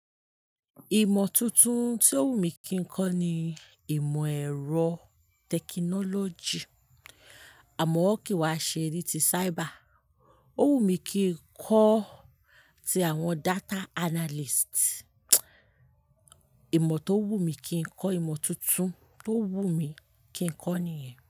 Ìmọ̀ tuntun tí ó wù mí kí n kọ́ ni ìmọ̀ ẹ̀rọ tẹkinọ́lọ́jì, àmọ́ kí wá ṣe ni ti cyber. Ó wù mí kí n kọ́ ti àwọn data analyst. Ìmọ̀ tó wù mí kí n kọ́, ìmọ̀ tuntun tó wù mí kí n kọ́ nìyẹn.